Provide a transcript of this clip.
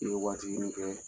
ye waati ɲini i fɛ